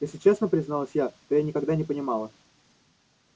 если честно призналась я то я никогда не понимала